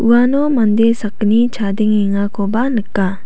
uano mande sakgni chadengengakoba nika.